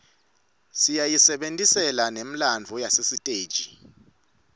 siyayisebertisela nemllslalo yasesiteji